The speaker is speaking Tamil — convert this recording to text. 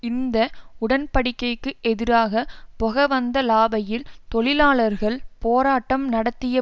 இந்த உடன்படிக்கைக்கு எதிராக பொகவந்தலாவையில் தொழிலாளர்கள் போராட்டம் நடத்திய